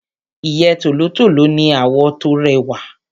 Ìyẹ́ tòlótòló ní àwọ̀ tó rẹwà.